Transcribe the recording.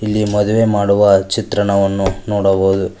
ಇಲ್ಲಿ ಮದುವೆ ಮಾಡುವ ಚಿತ್ರಣವನ್ನು ನೋಡಬಹುದು.